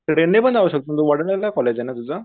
Train ने पण जाऊ शकतो तू वडाळ्याला कॉलेजे ना तुझं.